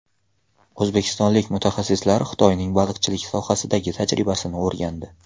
O‘zbekistonlik mutaxassislar Xitoyning baliqchilik sohasidagi tajribasini o‘rgandi.